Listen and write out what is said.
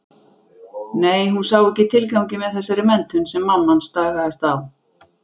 Nei, hún sá ekki tilganginn með þessari menntun sem mamma stagaðist á.